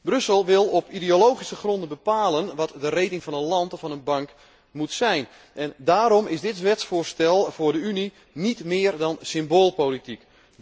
Brussel wil op ideologische gronden bepalen wat de rating van een land of van een bank moet zijn en daarom is dit wetsvoorstel voor de Unie niet meer dan symboolpolitiek.